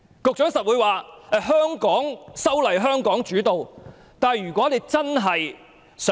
局長一定會說，香港的修例應由香港主導。